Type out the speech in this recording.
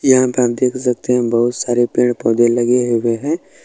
यहां आप देख सकते है बहुत सारे पेड़-पौधे लगे हुए है।